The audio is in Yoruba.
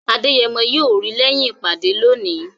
Adeyemo yóò rí lẹ́yìn ìpàdé lónìí